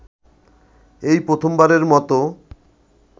এই প্রথমবারের মতো